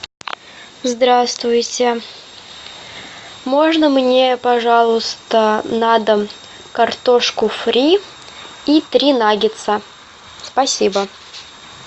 здравствуйте можно мне пожалуйста на дом картошку фри и три наггетса спасибо